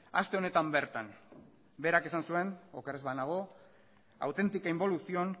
aste honetan bertan berak esan zuen oker ez banago auténtica involución